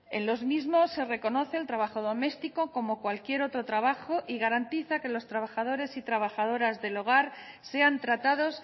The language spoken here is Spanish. en los mismos se reconoce el trabajo doméstico como cualquier otro trabajo y garantiza que los trabajadores y trabajadoras del hogar sean tratados